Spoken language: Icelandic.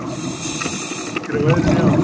Hafið þið áhyggjur af veðrinu í ár?